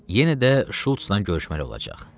Yenə də Şultla görüşməli olacaq.